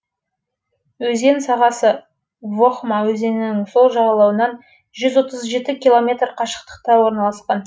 өзен сағасы вохма өзенінің сол жағалауынан жүз он жеті километр қашықтықта орналасқан